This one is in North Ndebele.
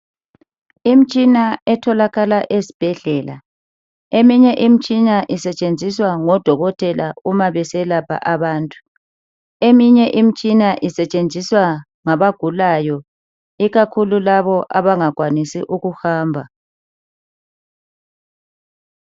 Imitshina etholakala esibhedlela, eminye imitshina isetshenziswa ngodokotela uma beselapha abantu. Eminye imitshina isetshenziswa ngabagulayo ikakhulu labo abangakwanisi ukuhamba.